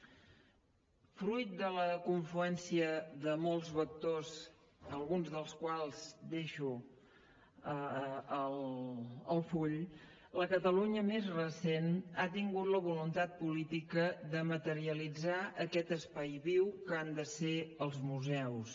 fruit de la confluència de molts vectors alguns dels quals deixo al full la catalunya més recent ha tingut la voluntat política de materialitzar aquest espai viu que han de ser els museus